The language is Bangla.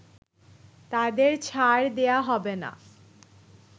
তাদের ছাড় দেয়া হবে না